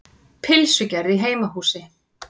Pylsugerð í heimahúsi.